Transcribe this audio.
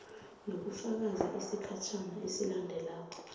nokufaka isigatjana esilandelako